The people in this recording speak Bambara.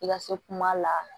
I ka se kuma la